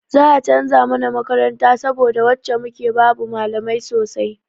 Za a canza mana makaranta saboda wacce muke babu malamai sosai.